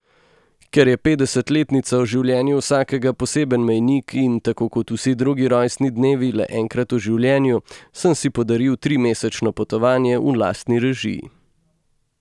Ker je petdesetletnica v življenju vsakega poseben mejnik in tako kot vsi drugi rojstni dnevi le enkrat v življenju, sem si podaril trimesečno potovanje v lastni režiji.